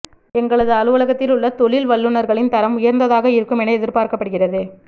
எங்களது அலுவலகத்தில் உள்ள தொழில் வல்லுனர்களின் தரம் உயர்ந்ததாக இருக்கும் என எதிர்பார்க்கப்படுகிறது